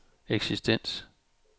eksistens